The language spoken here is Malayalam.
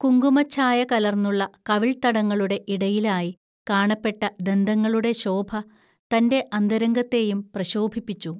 കുങ്കുമച്ഛായ കലർന്നുള്ള കവിൾത്തടങ്ങളുടെ ഇടയിലായി കാണപ്പെട്ട ദന്തങ്ങളുടെ ശോഭ തന്റെ അന്തരംഗത്തേയും പ്രശോഭിപ്പിച്ചു